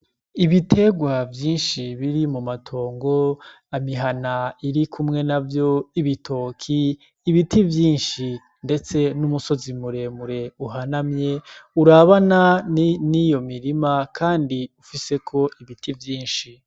Ibiterwa vyinshi biri mumatongo, babihana irikumwe navyo ibitoki ibiti vyinshi ndetse n'umusozi muremure uhanamye urabana niyo mirima kandi ifiseko ibiti vyinshi.